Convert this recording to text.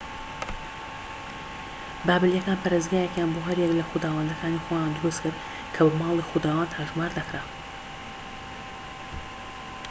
بابلیەکان پەرستگایەکیان بۆ هەر یەک لە خوداوەندەکانی خۆیان دروستکرد کە بە ماڵی خوداوەند هەژمار دەکرا